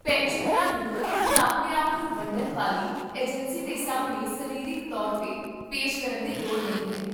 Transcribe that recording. ਪੈਨਸ਼ਨਰਾਂ ਨੂੰ ਹੁਣ ਆਪਣੇ ਆਪ ਨੂੰ ਵੰਡਣ ਵਾਲੀ ਏਜੰਸੀ ਦੇ ਸਾਹਮਣੇ ਸਰੀਰਕ ਤੌਰ 'ਤੇ ਪੇਸ਼ ਕਰਨ ਦੀ ਲੋੜ ਨਹੀਂ ਹੈ